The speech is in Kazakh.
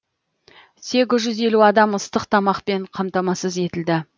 сегіз жүз елу адам ыстық тамақпен қамтамасыз етілді